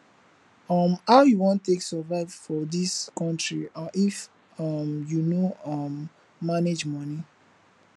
um how you wan take survive for dis country if um you no um manage money